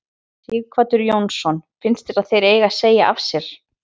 Sighvatur Jónsson: Finnst þér að þeir eigi að segja af sér?